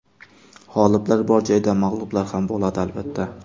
G‘oliblar bor joyda mag‘lublar ham bo‘ladi, albatta.